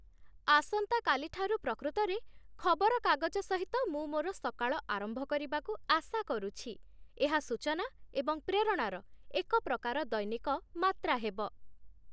ଆସନ୍ତାକାଲି ଠାରୁ ପ୍ରକୃତରେ ଖବରକାଗଜ ସହିତ ମୁଁ ମୋର ସକାଳ ଆରମ୍ଭ କରିବାକୁ ଆଶା କରୁଛି। ଏହା ସୂଚନା ଏବଂ ପ୍ରେରଣାର ଏକ ପ୍ରକାର ଦୈନିକ ମାତ୍ରା ହେବ।